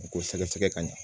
K'o sɛgɛsɛgɛ ka ɲɛ